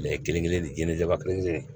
kelen kelen ni jinɛ jaba kelen kelen